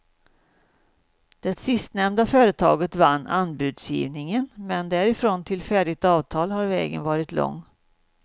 Det sistnämnda företaget vann anbudsgivningen, men därifrån till färdigt avtal har vägen varit lång.